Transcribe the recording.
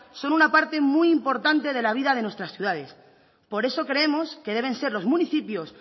son una parte muy importante de la vida de nuestras ciudades por eso creemos que deben ser los municipios